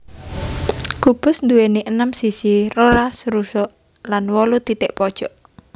Kubus nduwèni enem sisi rolas rusuk lan wolu titik pojok